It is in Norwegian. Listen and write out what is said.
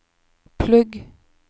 plugg